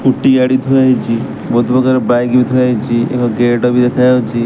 Scooty ଗାଡି ଥୁଆ ହେଇଛି ବହୁତ ପ୍ରକାର ବାଇକ୍ ବି ଥୁଆ ହେଇଛି ଏକ ଗେଟ ବି ଦେଖା ଯାଉଚି।